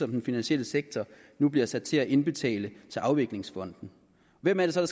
den finansielle sektor nu bliver sat til at indbetale til afviklingsfonden hvem er det så